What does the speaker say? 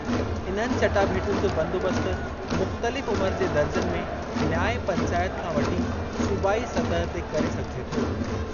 इन्हनि चटाभेटियुनि जो बंदोबस्त मुख़्तलिफ़ उमिरि जे दर्जनि में न्याय पंचायत खां वठी सूबाई सतह ते करे सघिजे थो।